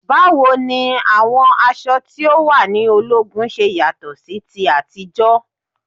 Báwo ni àwọn aṣọ tí o wà ní ológun ṣe yàtọ̀ sí ti àtijọ́?